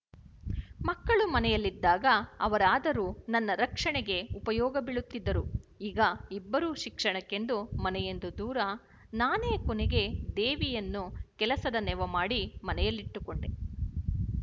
ಮಕ್ಕಳು ಮನೆಯಲ್ಲಿದ್ದಾಗ ಅವರಾದರೂ ನನ್ನ ರಕ್ಷಣೆಗೆ ಉಪಯೋಗ ಬೀಳುತ್ತಿದ್ದರು ಈಗ ಇಬ್ಬರೂ ಶಿಕ್ಷಣಕ್ಕೆಂದು ಮನೆಯಿಂದ ದೂರನಾನೇ ಕೊನೆಗೆ ದೇವಿಯನ್ನು ಕೆಲಸದ ನೆವಮಾಡಿ ಮನೆಯಲ್ಲಿಟ್ಟುಕೊಂಡೆ